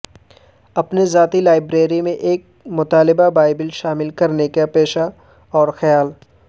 اپنے ذاتی لائبریری میں ایک مطالعہ بائبل شامل کرنے کے پیشہ اور خیال